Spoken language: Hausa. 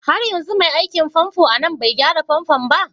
Har yanzu mai aikin famfo a nan bai gyara famfo ba?